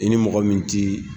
I ni mɔgɔ min tɛ